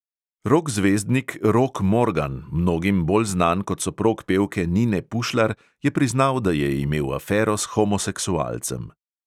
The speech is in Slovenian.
Rok zvezdnik rok morgan, mnogim bolj znan kot soprog pevke nine pušlar, je priznal, da je imel afero s homoseksualcem...